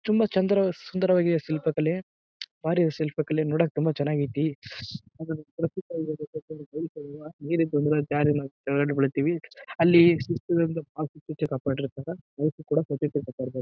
ತುಂಬಾ ಚಂದ್ರ ಸುಂದರವಾದ ಶಿಲ್ಪ ಕಲೆ. ಬಾರಿ ಇದೆ ಶಿಲ್ಪ ಕಲೆ ನೋಡಕ್ ತುಂಬಾ ಚೆನ್ನಾಗ್ ಐತಿ ಬೇರೆ ಜಾರಿ ನಾವ್ ಕೆಳಗಡೆ ಬೀಳ್ಥಿವಿ. ಅಲ್ಲಿ ಕಾಪಾಡಿರ್ತಾರ. ಅವಕ್ಕೂ ಕೂಡ .]